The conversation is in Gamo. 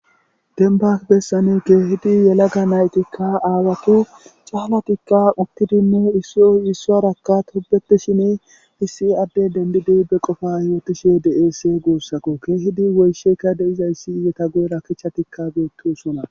Dembba bessani keehidi yelaga na7ithikka aawathi caalathikka uththidinne issoy issuwaarakka tobbeththishini issi addee denddidi be qofaa yoothishee de7eesi guusako; keehidi woyshsheka de7izayssi eethappe guyera kichchathikka beeththoosona.